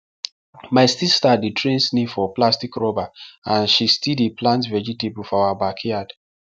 my sister dey train snail for plastic rubber and she still dey plant vegetable for our backyard